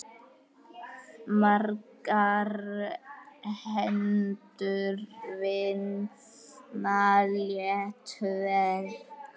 Margar hendur vinna létt verk.